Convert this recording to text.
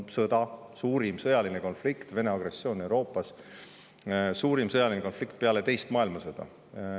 Muutunud on see, et on sõda: Vene agressioon Euroopas, suurim sõjaline konflikt peale teist maailmasõda.